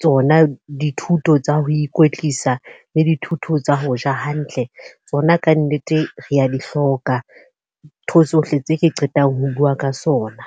tsona dithuto tsa ho ikwetlisa, le dithuto tsa ho ja hantle. Tsona ka nnete re a di hloka, thuso tsohle tse ke qetang ho bua ka sona.